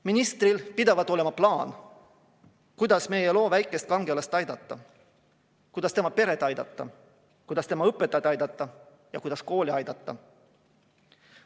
Ministril pidavat olema plaan, kuidas meie loo väikest kangelast aidata, kuidas tema peret aidata, kuidas tema õpetajaid aidata ja kuidas kooli aidata.